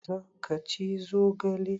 Za ka ci zogale?